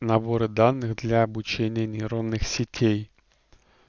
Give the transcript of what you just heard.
наборы данных для обучения нейронных сетей